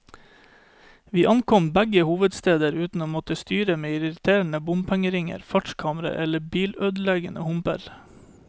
Vi ankom begge hovedsteder uten å måtte styre med irriterende bompengeringer, fartskameraer eller bilødeleggende humper.